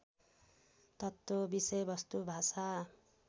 तत्त्व विषयवस्तु भाषा